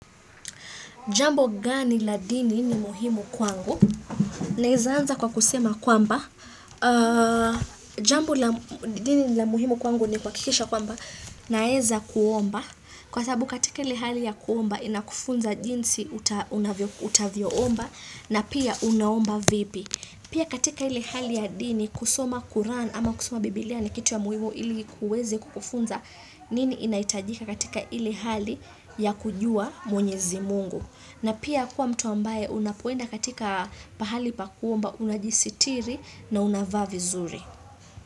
Jambo gani la dini ni muhimu kwangu? Naweza anza kwa kusema kwamba. Jambo la dini ni la muhimu kwangu ni kuhakikisha kwamba naweza kuomba. Kwa sababu katika ile hali ya kuomba inakufunza jinsi utavyoomba na pia unaomba vipi. Pia katika ile hali ya dini kusoma Kurani ama kusoma bibilia na kitu ya muhimu ili kuweze kukufunza nini inahitajika katika ile hali ya kujua mwenyezi mungu. Na pia kuwa mtu ambaye unapoenda katika pahali pa kuomba unajisitiri na unavaa vizuri.